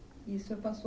E o senhor passou